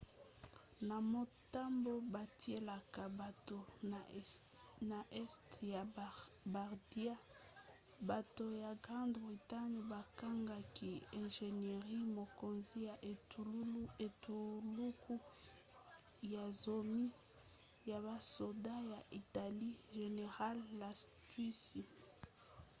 na motambo batielaka bato na este ya bardia bato ya grande bretagne bakangaki ingénieur mokonzi ya etuluku ya zomi ya basoda ya italie general lastucci